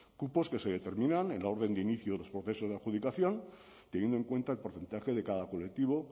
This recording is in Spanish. cupos que se determinan en la orden de inicio de los procesos de adjudicación teniendo en cuenta el porcentaje de cada colectivo